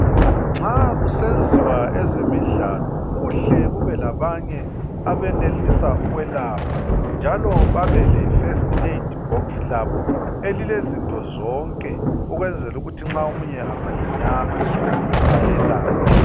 Nxa kusenziwa ezemidlalo, kuhle kube labanye abenelisa ukwelapha. Njalo babe le first aid box labo elilezinto zonke. Ukwenzela ukuthi nxa omunye angalinyazwa ayelatshwe.